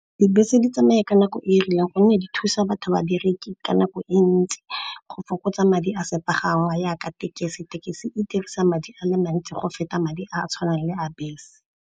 Dibese di tsamaya ka nako e rileng gonne di thusa babereki ka nako e ntsi go fokotsa madi a sepagangwa yaka thekesi. Thekisi e dirisa madi a le mantsi go feta madi a a tshwanang le a bese.